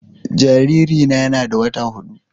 Jaririna yana da wata hudu